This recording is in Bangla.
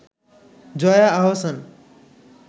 জয়া আহসান